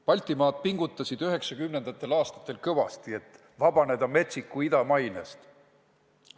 Baltimaad pingutasid 1990. aastatel kõvasti, et vabaneda metsiku ida mainest.